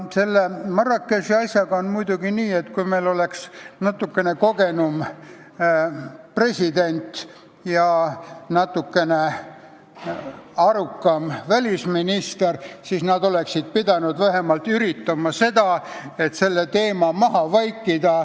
Selle Marrakechi asjaga on muidugi nii, et kui meil oleks natukene kogenum president ja natukene arukam välisminister, siis nad oleksid pidanud vähemalt üritama selle teema valimiste ajaks maha vaikida.